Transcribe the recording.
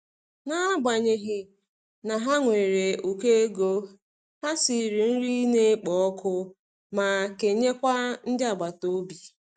N'agbanyeghị na ha nwere ukọ ego, ha siri nri na-ekpo ọkụ ma kenye kwa ndị agbata obi.